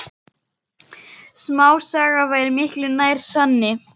Smásaga væri miklu nær sanni.